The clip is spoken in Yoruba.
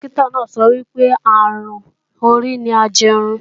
Dókítà náà sọ wípé, àrùn orí ni ajẹrun